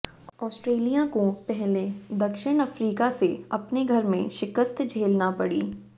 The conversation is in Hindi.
ऑस्ट्रेलिया को पहले दक्षिण अफ्रीका से अपने घर में शिकस्त झेलना पड़ी